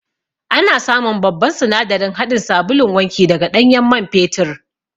Ana samun babban sinadarin haɗin sabulun wanki daga ɗanyen man fetur